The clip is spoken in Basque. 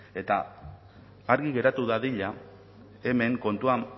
eta argi geratu dadila hemen kontua